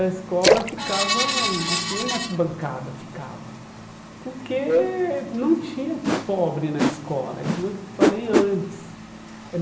A escola ficava, acho que nem na arquibancada ficava, porque não tinha pobre na escola, é como eu falei antes.